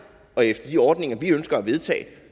og efter de ordninger vi ønsker at vedtage